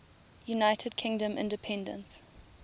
united kingdom independence